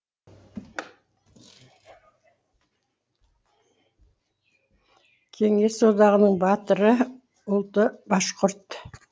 кеңес одағының батыры ұлты башқұрт